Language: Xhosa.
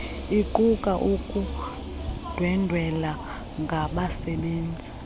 iquka ukundwendwela ngabasebenzi